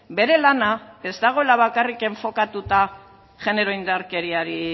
bere lana ez dagoela bakarrik enfokatuta genero indarkeriari